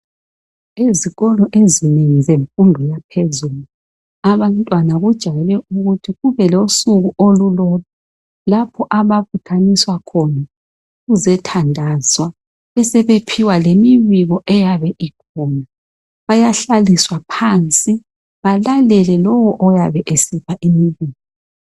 Izikolo ezinengi zemfundo yaphezulu , abantwana kujayele ukuthi kube losuku olulodwa .Lapho ababuthaniswa khona kuzethandazwa besebephiwa lemibiko eyabe ikhona. Bayahlaliswa phansi ,balalele lowo oyabe esipha imibiko.